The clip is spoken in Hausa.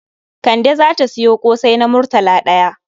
Kande za ta sayo ƙosai na murtala ɗaya.